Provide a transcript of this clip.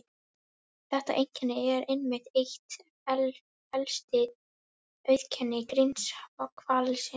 Þetta einkenni er einmitt eitt helsta auðkenni grindhvalsins.